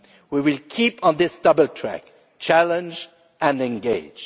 We will keep on this double track challenge and engage.